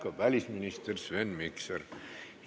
Aitäh, välisminister Sven Mikser!